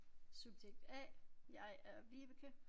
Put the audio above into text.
Subjekt A jeg er Vibeke